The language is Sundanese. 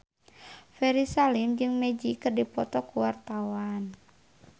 Ferry Salim jeung Magic keur dipoto ku wartawan